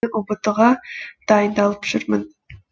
ұбт ға дайындалып жүрмін